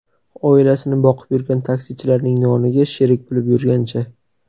Oilasini boqib yurgan taksichilarning noniga sherik bo‘lib yurgancha”.